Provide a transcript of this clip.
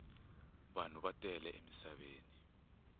vanhu va tele emisaveni